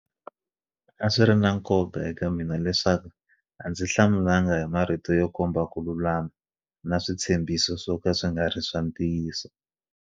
A swiri na nkoka eka mina leswaku a ndzi hlamulanga hi marito yo komba ku lulama na switshembhiso swoka swi nga ri ntiyiso.